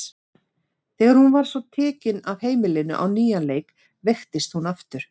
Þegar hún svo var tekin af heimilinu á nýjan leik veiktist hún aftur.